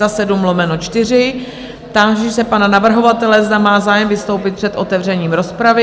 Táži se pana navrhovatele, zda má zájem vystoupit před otevřením rozpravy?